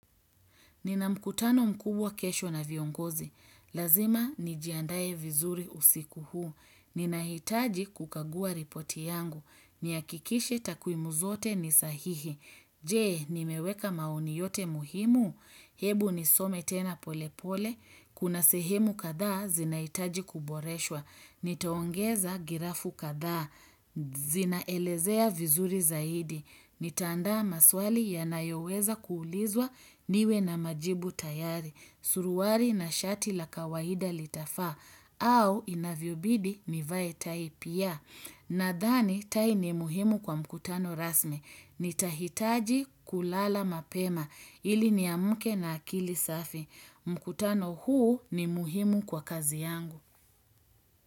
Nina mkutano mkubwa kesho na viongozi. Lazima, nijiandae vizuri usiku huu. Ninahitaji kukagua ripoti yangu. Nihakikishe takwimu zote ni sahihi. Je, nimeweka maoni yote muhimu. Hebu nisome tena pole pole. Kuna sehemu kadhaa, zinahitaji kuboreshwa. Nitaongeza girafu kadhaa. Zinaelezea vizuri zaidi. Nitaandaa maswali yanayoweza kuulizwa niwe na majibu tayari, suruari na shati la kawaida litafaa, au inavyobidi nivae taip ya. Nadhani, tai ni muhimu kwa mkutano rasmi. Nitahitaji kulala mapema, ili niamke na akili safi. Mkutano huu ni muhimu kwa kazi yangu.